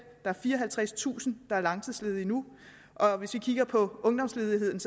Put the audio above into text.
er fireoghalvtredstusind der er langtidsledige nu og hvis vi kigger på ungdomsledigheden